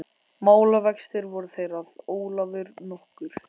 Málavextir voru þeir að Ólafur nokkur